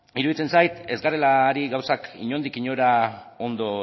iruditzen zait ez garela ari gauzak inondik inora ondo